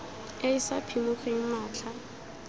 e e sa phimogeng matlha